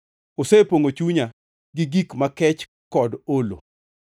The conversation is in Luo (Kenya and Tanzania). Osepongʼo chunya gi gik makech kod olo.